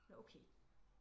Nå okay